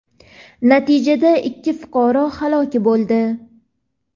Natijada ikki fuqaro halok bo‘ldi.